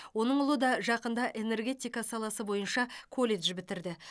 оның ұлы да жақында энергетика саласы бойынша колледж бітірді